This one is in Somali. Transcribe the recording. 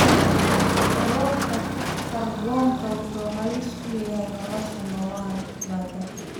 Kororka kaarboonka wuxuu halis ku yahay nolosha noolaha badda.